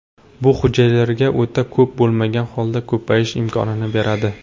Bu hujayralarga o‘ta ko‘p bo‘lmagan holda ko‘payish imkonini beradi”.